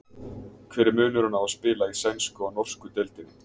Hver er munurinn á að spila í sænsku og norsku deildinni?